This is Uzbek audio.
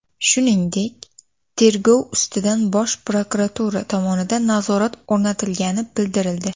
Shuningdek, tergov ustidan Bosh prokuratura tomonidan nazorat o‘rnatilgani bildirildi.